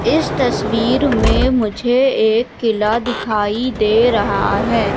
इस तस्वीर में मुझे एक किला दिखाई दे रहा है।